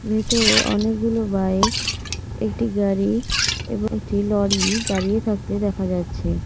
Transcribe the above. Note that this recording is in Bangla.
ভেতরে অনেকগুলো বাইক একটি গাড়ি এবং একটি লরি দাঁড়িয়ে থাকতে দেখা যাচ্ছে।